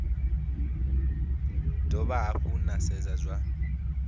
dovha hafhu na sedza zwa